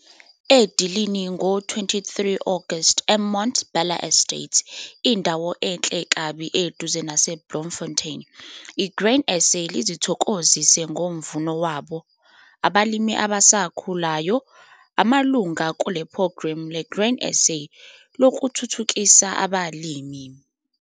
Edilini ngo23 August eMonte Bella Estate, indawo enhle kabi eduze naseBloemfontein, iGrain SA lizithokozise ngomvuno wabo- abalimi abasakhulayo, abamalunga kulePhrogramu LeGrain SA Lokuthuthukisa Abalimi.